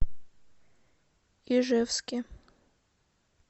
ижевске